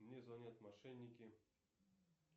мне звонят мошенники